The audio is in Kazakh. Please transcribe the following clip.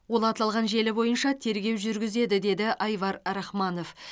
ол аталған желі бойынша тергеу жүргізеді деді айвар рахманов